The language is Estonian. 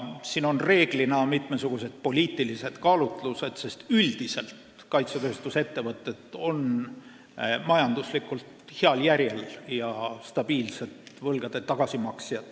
Siin on reeglina tegu mitmesuguste poliitiliste kaalutlustega, sest üldiselt on kaitsetööstusettevõtted majanduslikult heal järjel ja stabiilsed võlgade tagasimaksjad.